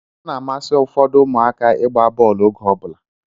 Ọ na-amasị ụfọdụ ụmụaka ịgba bọọlụ oge ọbụla